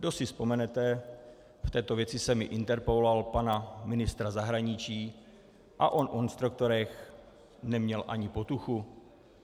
Kdo si vzpomenete, v této věci jsem i interpeloval pana ministra zahraničí, a on o instruktorech neměl ani potuchu.